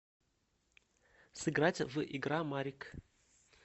сыграть в игра марик